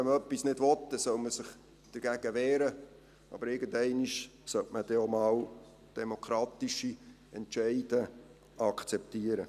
Wenn man etwas nicht will, dann soll man sich dagegen wehren, aber irgendeinmal sollte man dann auch mal demokratische Entscheide akzeptieren.